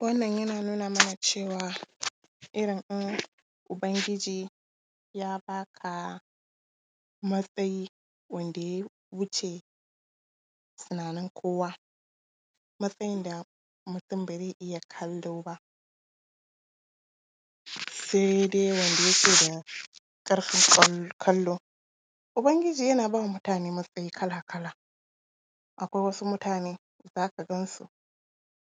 Wannan yana nuna mana cewa irin in Ubangiji ya ba ka matsayi, wanda ya wuce tunanin kowa, matsayin da mutum ba zai iya kallo ba, sai dai wanda yake da ƙarfin kallo. Ubangiji yana ba mutane matsayi kala-kala, akwai wasu mutane, za ka gan su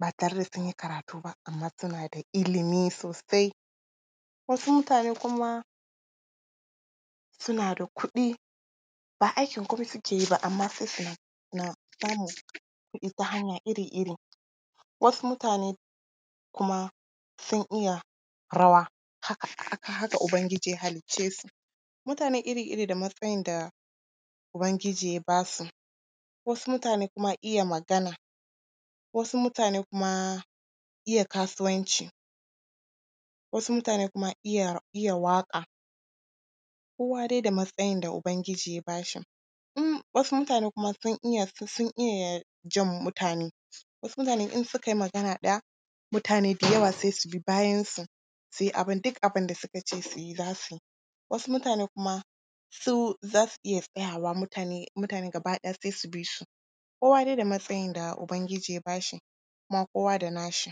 ba tare da sun yi karatu ba, amma suna da ilimi sosai, wasu mutane kuma suna da kuɗi, ba aikin gwamnati suke ba amma sai suna ba mu kuɗi ta hanyoyi iri-iri. Wasu mutane kuma sun iya rawa, haka haka haka Ubangiji ya halicce su. Mutane iri-iri da matsayin da Ubangiji ya ba su: Wasu mutane kuma iya magana, wasu mutane kuma iya kasuwanci, wasu mutane kuma iya waƙa, kowa dai da matsayin da Ubangiji ya ba shi. In wasu mutane kuma… wasu sun iya su sun iya jan mutane, wasu mutane in suka yi magana ɗaya, mutane da yawa sai su bi bayansu, su yi abin duk abin da suka ce su yi, za su yi, wasu mutane kuma, su za su iya tsaya wa mutane, mutane gaba ɗaya sai su bi su. Kowa dai da matsayin da Allah ya ba shi kuma kowa da nashi.